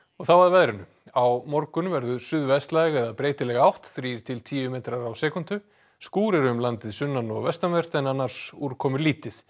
og þá að veðri á morgun verður suðvestlæg eða breytileg átt þrír til tíu metrar á sekúndu skúrir um um landið sunnan og vestanvert en annars úrkomulítið